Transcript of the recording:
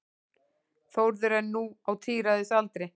Þórður er nú á tíræðisaldri.